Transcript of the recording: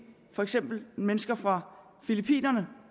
for eksempel mennesker fra filippinerne